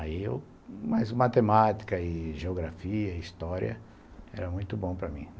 Aí eu... Mas matemática e geografia, história, era muito bom para mim.